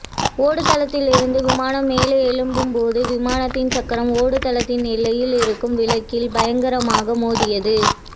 ஓடுதளத்தில் இருந்து விமானம் மேலே எழும்பும் போது விமானத்தின் சக்கரம் ஓடுதளத்தின் எல்லையில் இருக்கும் விளக்கில் பயங்கரமாக மோதியது